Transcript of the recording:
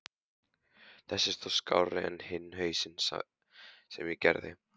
Þessi er þó skárri en hinn hausinn sem ég gerði.